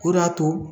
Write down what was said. O de y'a to